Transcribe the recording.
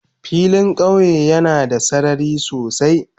Filin kauye yana da sarari sosai.